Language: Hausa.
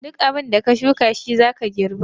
Duk abin da ka shuka shi zaka girba.